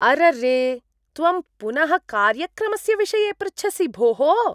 अररे! त्वं पुनः कार्यक्रमस्य विषये पृच्छसि भोः!